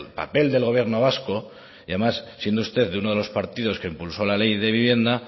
papel del gobierno vasco además siendo usted de uno de los partidos que impulsó la ley de vivienda